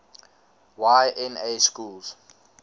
y na schools